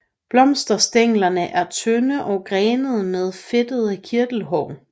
Blomsterstænglerne er tynde og grenede med fedtede kirtelhår